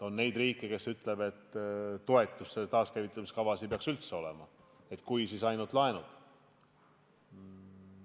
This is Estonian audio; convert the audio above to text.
On neid riike, kes ütlevad, et toetusi ja selliseid taaskäivitamise kavasid ei peaks üldse olema – kui, siis ainult laenud.